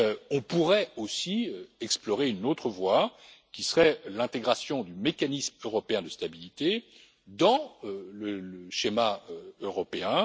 On pourrait aussi explorer une autre voie, qui serait l'intégration du mécanisme européen de stabilité dans le schéma européen.